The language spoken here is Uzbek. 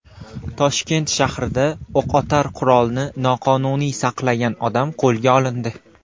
Toshkent shahrida o‘qotar qurolni noqonuniy saqlagan odam qo‘lga olindi.